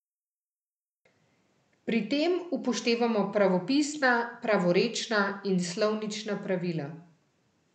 Pri tem upoštevamo pravopisna, pravorečna in slovnična pravila.